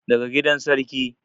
daga gidan sarki